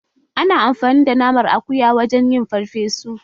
Ana amfani da naman akuya wajen yin farfesu